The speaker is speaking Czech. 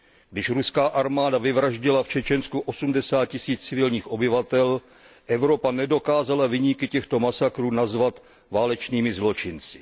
Když ruská armáda vyvraždila v Čečensku osmdesát tisíc civilních obyvatel, Evropa nedokázala viníky těchto masakrů nazvat válečnými zločinci.